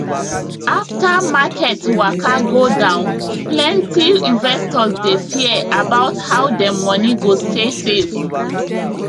after market waka go down plenty investors dey fear about how dem money go stay safe